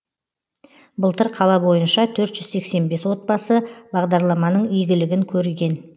былтыр қала бойынша төрт жүз сексен бес отбасы бағдарламаның игілігін көрген